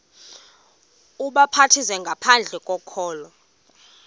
ubhaptizo ngaphandle kokholo